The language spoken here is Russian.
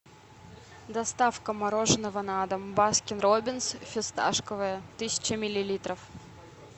доставка мороженого на дом баскин роббинс фисташковое тысяча миллилитров